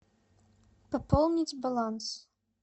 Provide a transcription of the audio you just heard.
пополнить баланс